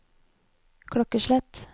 klokkeslett